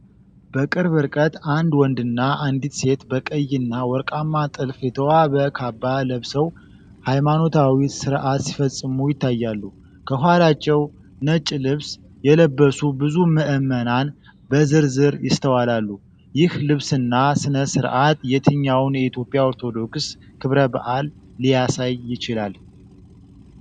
በቅርብ ርቀት አንድ ወንድና አንዲት ሴት በቀይና ወርቃማ ጥልፍ የተዋበ ካባ ለብሰው፣ ሃይማኖታዊ ሥርዓት ሲፈጽሙ ይታያሉ። ከኋላቸው ነጭ ልብስ የለበሱ ብዙ ምዕመናን በዝርዝር ይስተዋላሉ። ይህ ልብስና ሥነ-ስርዓት የትኛውን የኢትዮጵያ ኦርቶዶክስ ክብረ በዓል ሊያሳይ ይችላል?